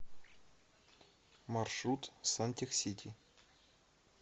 маршрут сантехсити